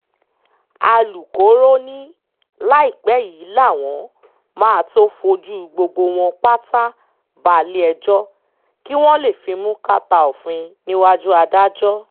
alūkkóró ni láìpẹ́ yìí làwọn máa tóó fojú gbogbo wọn pátá balẹ̀-ẹjọ́ kí wọ́n lè fimú kàtà òfin níwájú adájọ́